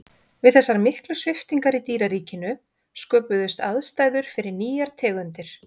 við þessar miklu sviptingar í dýraríkinu sköpuðust aðstæður fyrir nýjar tegundir